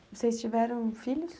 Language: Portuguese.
Vocês tiveram filhos?